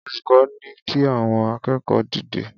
Olukọ ni ki awọn akẹẹkọ dide